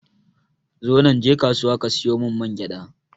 Zonan je kasuwa ka siyo mun mangyaɗa